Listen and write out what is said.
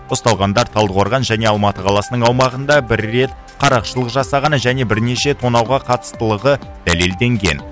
ұсталғандар талдықорған және алматы қаласының аумағында бір рет қарақшылық жасағаны және бірнеше тонауға қатыстылығы дәлелденген